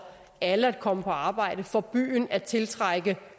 alle at komme på arbejde for byen at tiltrække